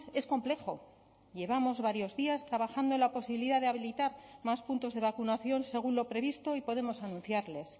es complejo llevamos varios días trabajando en la posibilidad de habilitar más puntos de vacunación según lo previsto y podemos anunciarles